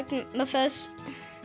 þess